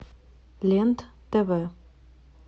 лен тв